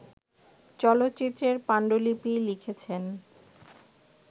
চলচ্চিত্রের পাণ্ডুলিপি লিখেছেন